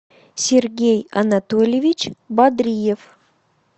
сергей анатольевич бадриев